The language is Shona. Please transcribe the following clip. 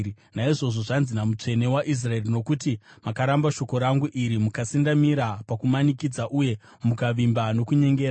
Naizvozvo zvanzi naMutsvene waIsraeri: “Nokuti makaramba shoko rangu iri, mukasendamira pakumanikidza uye mukavimba nokunyengera,